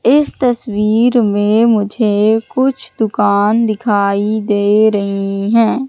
इस तस्वीर में मुझे कुछ दुकान दिखाई दे रही हैं।